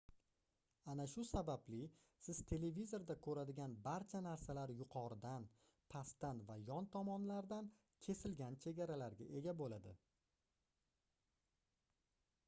ana shu sababli siz televizorda koʻradigan barcha narsalar yuqoridan pastdan va yon tomonlardan kesilgan chegaralarga ega boʻladi